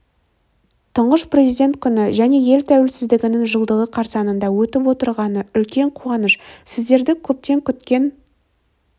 тұңғыш президент күні және ел тәуелсіздігінің жылдығы қарсаңында өтіп отырғаны үлкен қуаныш сіздерді көптен күткен